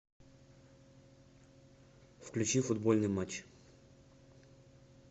включи футбольный матч